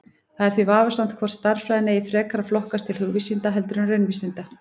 Það er því vafasamt hvort stærðfræðin eigi frekar að flokkast til hugvísinda heldur en raunvísinda.